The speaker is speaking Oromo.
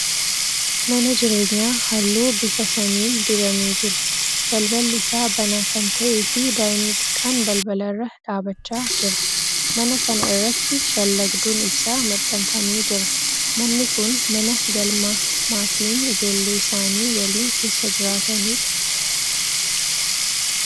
Mana jireenyaa halluu bifa samiin dibamee jiru. Balballi isaa banaa kan ta'ee fi daa'imni xiqqaan balbala irra dhaabachaa jira. Mana kana irratti shallagduun ibsaa maxxanfamee jira. Manni kun mana galmaa maatiin ijoollee isaanii waliin keessa jiraatanidha